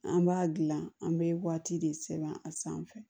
An b'a dilan an bɛ waati de sɛbɛn a sanfɛ